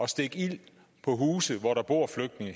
stikke ild på huse hvori der bor flygtninge